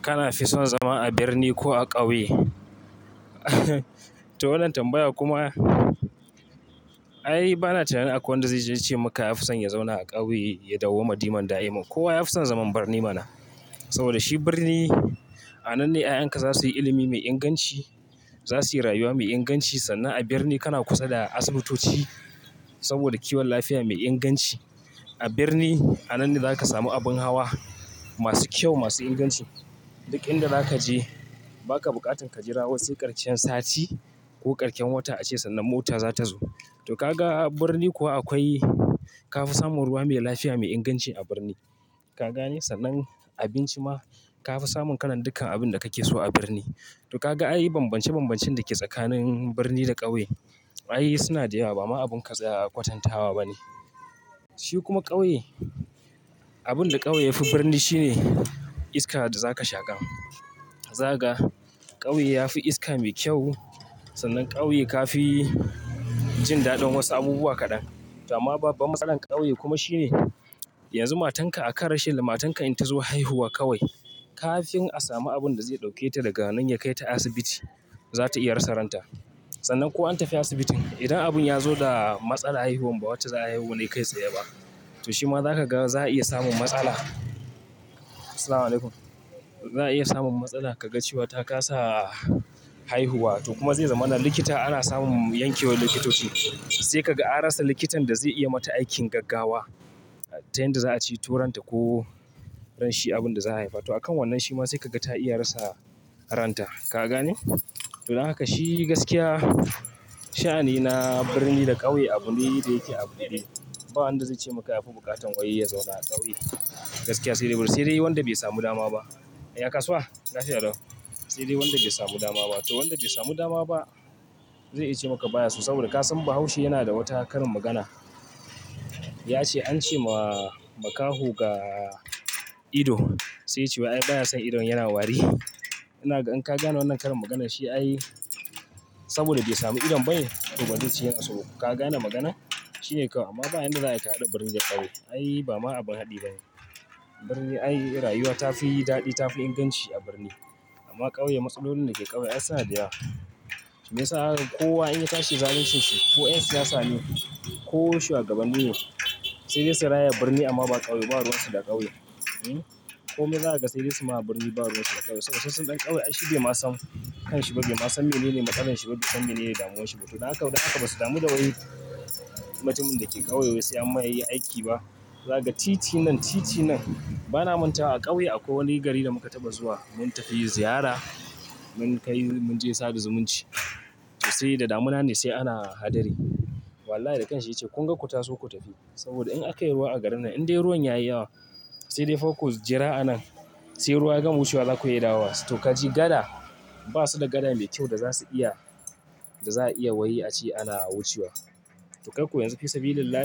Kana fi son zama a birni ko a ƙauye? To, wannan tambaya kuma, ai bana tunanin akwai wanda zai ce maka ya fi son ya zauna a ƙauye, ya dauwama diman da'imar. Kowa ya fi son zaman birni mana. Saboda shi birn, i a nan ne 'ya'yanka za su yi ilimi mai inganci, za su yi rayuwa mai inganci, sannan a birni kana kusa da asibitoci saboda kiwon lafiya mai inganci. A birni a nan ne za ka samu abin hawa, masu kyau, masu inganci. Duk inda za ka je, ba ka buƙatan ka jira wasu ƙarshen sati, ko ƙashen wata a ce sannan mota za ta zo. To ka ga a birni kuwa akwai, ka fi samun ruwa mai lafiya, mai inganci a birni. Ka gane? Sannan abinci ma ka fi samun kalan dukkan abin da kake so a birni. To ka ga ai bambance-bambancen da ke tsakanin birni da ƙauye, ai suna da yawa ba ma abin ka tsaya kwatantama ba ne. Shi kuma ƙauye, abin da ƙauye ya fi birni shine, iska da za ka shaƙa. Za ka ga ƙauye ya fi iska mai kyau sannan ƙauye ka fi jin daɗin wasu abubuwa kaɗan. To amman babban matsalar ƙauye kuma shi ne, yanzu matan ka akan rashin matarka in ta zo haihuwa kawai. Ka fin a sami abun da zai ɗauke ta daga nan ya kai ta asibiti, za ta iya rasa ranta. Sannan ko an tafi asibitin idan abun ya zo da matsala haihuwan ba wacce za a haihu na kai tsaya ba. To shi ma za ka ga za a iya samun matsala. Asaalamualaikum. Za a iya samun matsala, ka ga cewa ta kasa, haihuwa to kuma zai zama nan likita ana samun yankewar likitoci. Sai ka ga a rasa likitan da zai iya mata aikin gaggawa. Ta yanda za a ceto ranta ko shi abin da za a haifa. To a kan wannan shi ma sai ka ga ta iya rasa ranta. Ka gane? To dan haka shi gaskiya sha'ani na birni da ƙauye abun ne da iyake abuɗe ba wanda zai ce maka ya fi buƙatan wai ya zauna a ƙauye. Gaskiya sai dai bari sai dai wanda bai samu dama ba. Ya kasuwa? Lafiya lau, sai dai wanda bai samu dama ba. To wanda bai samu dama ba, zai iya ce maka baya so saboda ka san Bahaushe yana da wata karin magana. Ya ce an ce ma makaho ga ido, sai ya ce wai ai baya son idon yana wari. Ina ga in ka gane wannan karin maganar shi ai, saboda bai samu idon bane, to ba ba zai ce yana so. Ka gane magana? Shi ne kawai amma ba yanda za a yi kahaɗa birni da ƙauye. Ai ba ma abin haɗi bane. Birni ai rayuwa ta fi daɗi ta fi inganci a birni. Amma ƙauye matsalolin da ke ƙauye ai suna da yawa. Shiyasa ya sa ko wa in ya tashi zalincin ko 'yansiyasa ne ko shuwagaban ni ne sai da su dai su raya birni amma ba ƙauye ba. Ruwan su da ƙauye. Hmm. Ko me za ka ga sai dai su ma birni ba ruwan su da ƙauye saboda wasu waɗannan ƙauye ai shi bai ma san kanshi ba, bai ma san menene matsalar shi, ba, bai san me ne ya damun shi ba. To dan haka ba su damu da wai, mutumin da ke ƙauye wai sai an ma yayi aiki ba. Za ka titi nan titi nan, bana manta a ƙauye akwai wani gari da muka taɓa zuwa mun tafi ziyara, mun kai mun je sada zumunci. Sai da damuna me sai ana hadari. Wallahi da kanshi ya ce kun ga ku taso ku taf, i saboda in aka yi ruwa a garin nan in dai ruwan ya yi yawa, sai dai fa ku jira a nan. Sai ruwa ya gama wucewa za ku iya dawowa. To ka ji gad, ba su da gada mai kyau da za su iya, da za a iya wai a ce ana wucewa. To kai ko yanzu fi sabili llah,